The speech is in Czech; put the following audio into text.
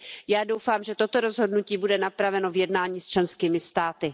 Já doufám, že toto rozhodnutí bude napraveno v jednání s členskými státy.